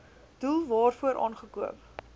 doel waarvoor aangekoop